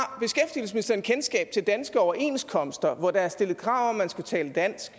har beskæftigelsesministeren kendskab til danske overenskomster hvor der er stillet krav om at man skal tale dansk